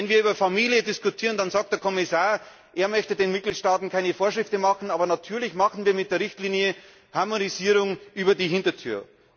Wenn wir über Familie diskutieren, dann sagt der Kommissar, er möchte den Mitgliedstaaten keine Vorschriften machen. Aber natürlich betreiben wir mit der Richtlinie eine Harmonisierung durch die Hintertür.